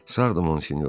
Sağdır Monsinyor.